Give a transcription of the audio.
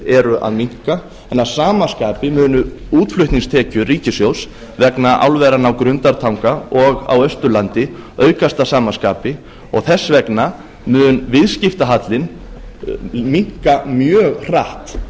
eru að minnka en að sama skapi munu útflutningstekjur ríkissjóðs vegna álveranna á grundartanga og á austurlandi aukast að sama skapi og þess vegna mun viðskiptahallinn minnka mjög hratt